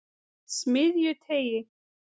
Smiðjuteigi